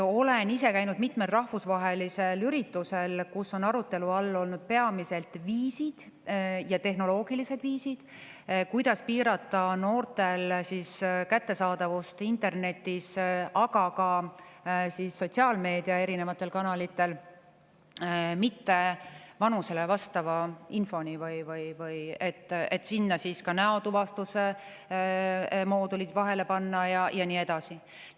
Olen ise käinud mitmel rahvusvahelisel üritusel, kus on arutelu all olnud peamised tehnoloogilised viisid, kuidas piirata noortel nende vanusele mittevastava info kättesaadavust internetis, ka sotsiaalmeediakanalitel – sinna näotuvastuse moodulid vahele panna ja nii edasi.